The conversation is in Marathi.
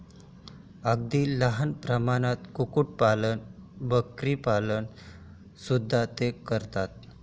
अगदी लहान प्रमाणात कुक्कुट पालन, बकरीपालन सुद्धा ते करतात.